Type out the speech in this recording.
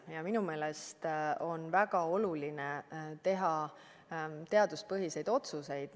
Ja minu meelest on väga oluline teha teaduspõhiseid otsuseid.